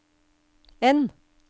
N